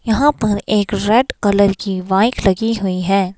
यहां पर एक रेड कलर की वाइट लगी हुई है।